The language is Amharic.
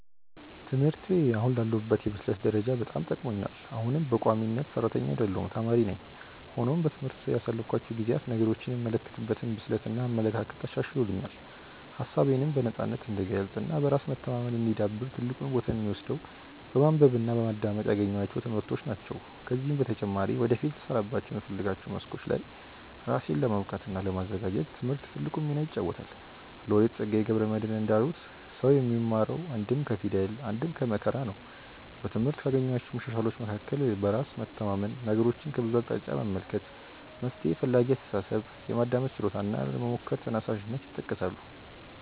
ትምህርቴ አሁን ላለሁበት የብስለት ደረጃ በጣም ጠቅሞኛል። አሁንም በቋሚነት ሰራተኛ አይደለሁም ተማሪ ነኝ። ሆኖም በትምህርት ያሳለፍኳቸው ጊዜያት ነገሮችን የምመለከትበትን ብስለት እና አመለካከት አሻሽሎልኛል። ሀሳቤነም በነፃነት እንድገልፅ እና በራስ መተማመኔ እንዲዳብር ትልቁን ቦታ የሚወስደው በማንበብ እና በማዳመጥ ያገኘኋቸው ትምህርቶች ናቸው። ከዚህም በተጨማሪ ወደፊት ልሰራባቸው በምፈልጋቸው መስኮች ላይ ራሴን ለማብቃት እና ለማዘጋጀት ትምህርት ትልቁን ሚና ይጫወታል። ሎሬት ፀጋዬ ገብረ መድህን እንዳሉት "ሰው የሚማረው አንድም ከፊደል አንድም ከመከራ ነው"።በትምህርት ካገኘኋቸው መሻሻሎች መካከል በራስ መተማመን፣ ነገሮችን ከብዙ አቅጣጫ መመልከት፣ መፍትሔ ፈላጊ አስተሳሰብ፣ የማዳመጥ ችሎታ እና ለመሞከር ተነሳሽነት ይጠቀሳሉ።